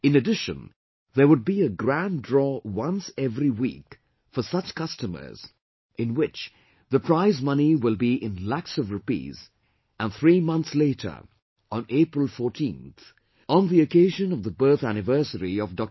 In addition, there would be a grand draw once every week for such customers in which the prize money will be in lakhs of rupees and three months later on April 14th, on the occasion of the birth anniversary of Dr